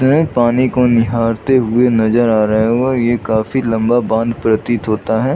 यह पानी को निहारते हुए नजर आ रहै है ये काफी लम्बा बाँध प्रातीत होता है।